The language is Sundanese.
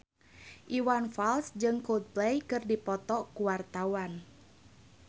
Iwan Fals jeung Coldplay keur dipoto ku wartawan